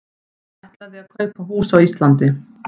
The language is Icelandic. Ætlaði að kaupa hús á Íslandi